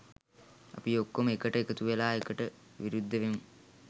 අපි ඔක්කොම එකට එකතුවෙලා ඒකට විරුද්ධ වෙමු.